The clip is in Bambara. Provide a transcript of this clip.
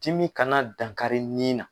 Timi kana dankari ɲin na.